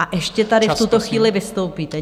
A ještě tady v tuto chvíli vystoupíte.